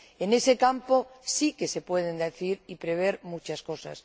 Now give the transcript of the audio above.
En ese campo sí que se pueden decir y prever muchas cosas.